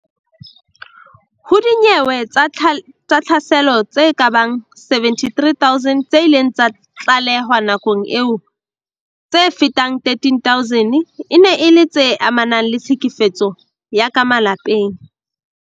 Ho dinyewe tsa tlhaselo tse kabang 73 000 tse ileng tsa tlalehwa nakong eo, tse fetang 13000 e ne e le tse amanang le tlhekefetso ya ka malapeng.